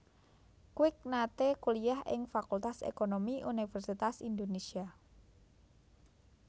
Kwik nate kuliyah ing Fakultas Ekonomi Universitas Indonésia